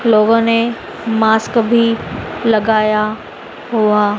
लोगों ने मास्क भी लगाया हुआ--